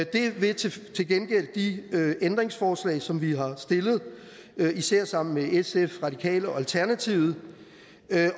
det vil til gengæld de ændringsforslag som vi har stillet især sammen med sf de radikale og alternativet